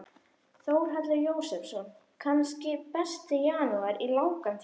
Þórhallur Jósefsson: Kannski besti janúar í langan tíma?